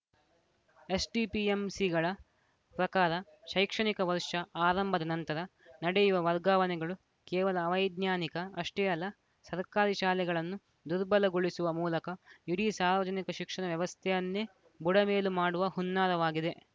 ಎಸ್‌ಡಿಎಂಸಿಗಳ ಪ್ರಕಾರ ಶೈಕ್ಷಣಿಕ ವರ್ಷ ಆರಂಭದ ನಂತರ ನಡೆಯುವ ವರ್ಗಾವಣೆಗಳು ಕೇವಲ ಅವೈಜ್ಞಾನಿಕ ಅಷ್ಟೇ ಅಲ್ಲ ಸರ್ಕಾರಿ ಶಾಲೆಗಳನ್ನು ದುರ್ಬಲಗೊಳಿಸುವ ಮೂಲಕ ಇಡೀ ಸಾರ್ವಜನಿಕ ಶಿಕ್ಷಣ ವ್ಯವಸ್ಥೆಯನ್ನೇ ಬುಡಮೇಲು ಮಾಡುವ ಹುನ್ನಾರವಾಗಿದೆ